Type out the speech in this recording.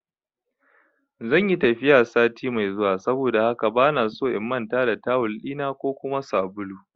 Zanyi tafiya sati mai zuwa saboda haka bana so in manta da tawul ɗina ko kuma sabulu